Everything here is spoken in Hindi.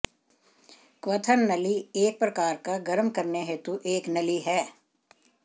क्वथन नली एक प्रकार का गर्म करने हेतु एक नली है